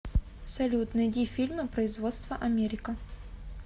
салют найди фильмы производства америка